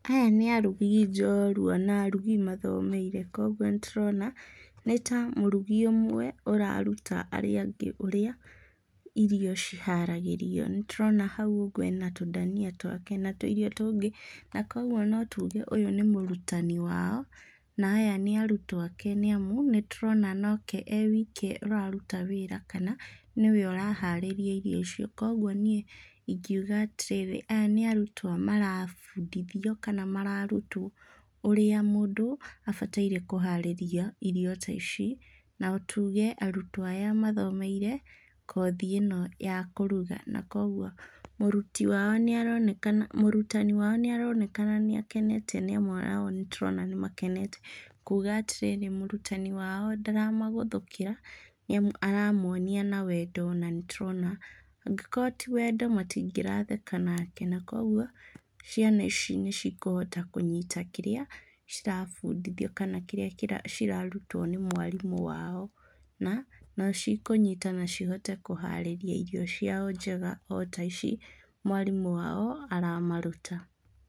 Aya nĩ arugi njorua na arugi mathomeire koguo nĩ tũrona nĩ ta mũrugi ũmwe ũraruta arĩa angĩ ũrĩa irio ciharagĩrio. Nĩtũrona hau ũguo ena tũndania twake na tũirio tũngĩ na kũoguo no tuge ũyũ nĩ mũrutani wao na aya nĩa arutwo ake nĩamu nĩtũrona nake e wike araruta wĩra kana nĩwe ũraharĩria icio. Kũoguo niĩ ingiuga atĩrĩ, aya nĩ arutwo marabundithio kana mararutwo ũrĩa mũndũ abataire kũharĩria irio ta ici na tuge arutwo aya mathomeire kothi ĩno ya kũruga na kũoguo mũriti wao nĩ aronaka, mũrutani wao nĩaronekana nĩ akenete nĩamu nao nĩtũrona nĩ makenete kuuga atĩrĩ, mũrutani wao ndaramagũthũkĩra nĩamu aramonia na wendo na nĩtũrona angĩkorwo ti wendo matingĩratheka nake nake na kũoguo ciana ici nĩ cikũhota kũnyita kĩrĩa cirabundithio kana kĩrĩa cirarutwo nĩ mwarimũ wao na nĩ cikũnyita na cihote kũharĩria irio ciao njega o ta ici mwarimũ wao aramaruta.